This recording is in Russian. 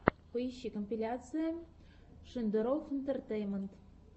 поищи компиляция шендерофф интэртэйнмэнт